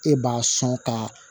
E b'a sɔn ka